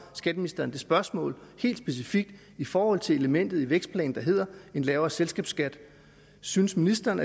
skatteministeren det spørgsmål helt specifikt i forhold til elementet i vækstplanen der hedder en lavere selskabsskat synes ministeren